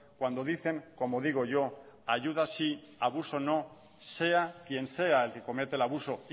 cuando dicen como digo yo ayuda sí abuso no sea quien sea el que comete el abuso